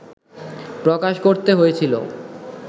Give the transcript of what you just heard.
প্রকাশ করতে হয়েছিল